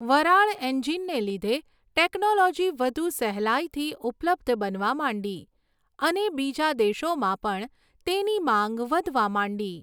વરાળ એંજીનને લીધે ટેક્નોલોજી વધુ સહેલાઈથી ઉપલબ્ધ બનવા માંડી અને બીજા દેશોમાં પણ તેની માંગ વધવા માંડી.